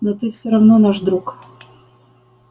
но ты всё равно наш друг